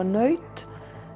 naut